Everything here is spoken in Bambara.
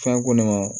Fɛn ko ne ma